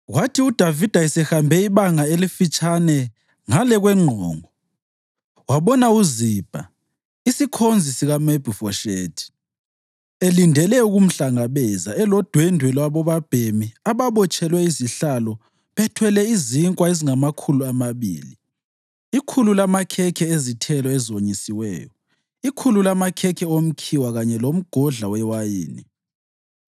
Kwathi uDavida esehambe ibanga elifitshane ngale kwenqongo, wabona uZibha, isikhonzi sikaMefibhoshethi, elindele ukumhlangabeza, elodwendwe lwabobabhemi ababotshelwe izihlalo bethwele izinkwa ezingamakhulu amabili, ikhulu lamakhekhe ezithelo ezonyisiweyo, ikhulu lamakhekhe omkhiwa kanye lomgodla wewayini.